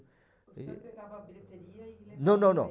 O senhor pegava a bilheteria e... Não, não, não.